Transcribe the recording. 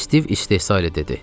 Stiv istehzayla dedi.